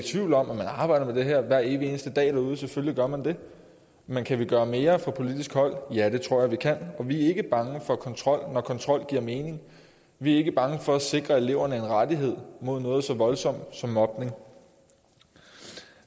tvivl om at man arbejder med det her hver evig eneste dag derude selvfølgelig gør man det men kan vi gøre mere fra politisk hold ja det tror jeg vi kan og vi er ikke bange for kontrol når kontrol giver mening vi er ikke bange for at sikre eleverne en rettighed mod noget så voldsomt som mobning